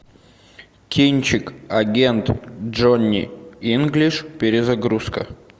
кинчик агент джонни инглиш перезагрузка